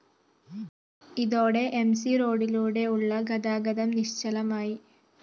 ഇതോടെ M C റോഡിലൂടെയുള്ള ഗതാഗതം നിശ്ചലമായി